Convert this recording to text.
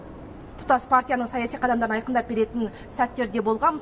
тұтас партияның саяси қадамдарын айқындап беретін сәттер де болған